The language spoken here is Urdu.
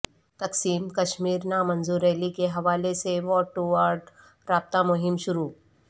تقسیم کشمیر نا منظور ریلی کے حوالے سے وارڈ ٹو وارڈ رابطہ مہم شروع